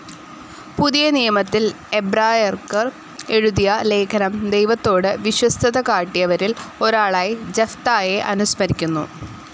പുതിയ നിയമത്തിൽ എബ്രായർക് എഴുതിയ ലേഖനം ദൈവത്തോട് വിശ്വസ്ഥതകാട്ടിയവരിൽ ഒരാളായി ജഫ്തായേ അനുസ്മരിക്കുന്നു.